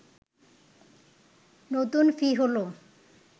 নতুন ফি হলো